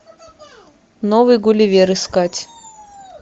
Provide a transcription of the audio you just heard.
новый гулливер искать